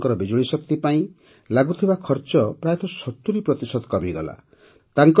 ଏହାଦ୍ୱାରା ତାଙ୍କର ବିଜୁଳିଶକ୍ତି ପାଇଁ ଲାଗୁଥିବା ଖର୍ଚ୍ଚ ପ୍ରାୟତଃ ୭୦ ପ୍ରତିଶତ କମିଗଲା